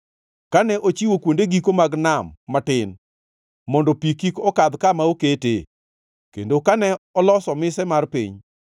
kane ochiwo kuonde giko mag nam matin mondo pi kik okadh kama oketee, kendo kane oloso mise mar piny.